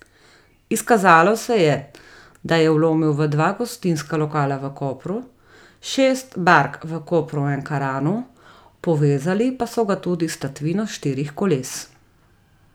Izkazalo se je, da je vlomil v dva gostinska lokala v Kopru, šest bark v Kopru in Ankaranu, povezali pa so ga tudi s tatvino štirih koles.